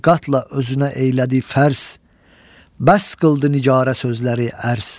Bir qatla özünə eyilədi pərs, bəs qıldı nicara sözləri ərs.